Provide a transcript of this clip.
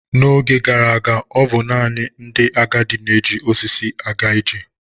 N'oge gara aga, ọ bụ naanị ndị agadi na-eji osisi aga ije.